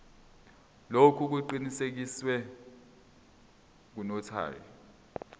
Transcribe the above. lokhu kuqinisekiswe ngunotary